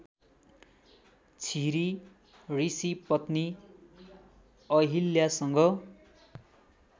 छिरी ऋषिपत्नी अहिल्यासँग